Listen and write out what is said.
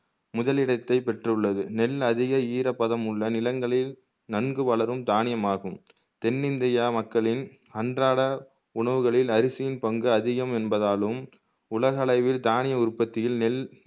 முதலிடத்தை பெற்றுள்ளது நெல் அதிக ஈரப்பதமுள்ள நிலங்களில் நன்கு வளரும் தானியமாகும் தென்னிந்தியா மக்களின் அன்றாட உணவுகளில் அரிசியின் பங்கு அதிகம் என்பதாலும் உலக அளவில் தானிய உற்பத்தியில் நெல்